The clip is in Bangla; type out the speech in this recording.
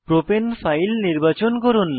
প্রপাণে ফাইল নির্বাচন করুন